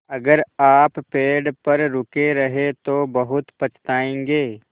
अगर आप पेड़ पर रुके रहे तो बहुत पछताएँगे